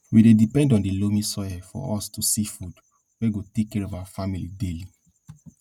we dey depend on di loamy soil for us to see food wey go take care of our family daily